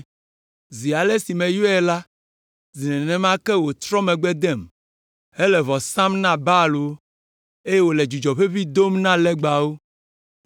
Zi ale si meyɔe la, zi nenema ke wòtrɔ megbe dem, hele vɔ sam na Baalwo, eye wòle dzudzɔ ʋeʋĩ dom na legbawo.